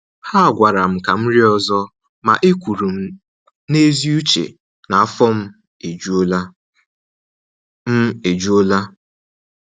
Ha gwara m ka m rie ọzọ, ma e kwuru m n’ezi uche na af ọ m ejula. m ejula.